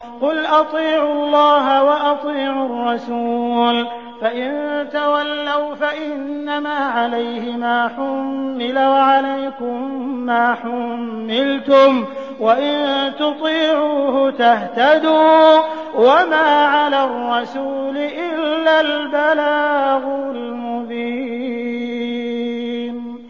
قُلْ أَطِيعُوا اللَّهَ وَأَطِيعُوا الرَّسُولَ ۖ فَإِن تَوَلَّوْا فَإِنَّمَا عَلَيْهِ مَا حُمِّلَ وَعَلَيْكُم مَّا حُمِّلْتُمْ ۖ وَإِن تُطِيعُوهُ تَهْتَدُوا ۚ وَمَا عَلَى الرَّسُولِ إِلَّا الْبَلَاغُ الْمُبِينُ